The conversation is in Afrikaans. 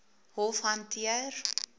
hof hanteer